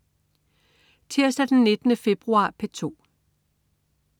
Tirsdag den 19. februar - P2: